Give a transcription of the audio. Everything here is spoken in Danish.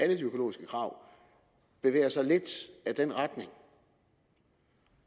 de økologiske krav bevæger sig lidt i den retning